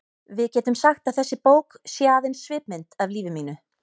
Við getum sagt að þessi bók sé aðeins svipmynd af lífi mínu.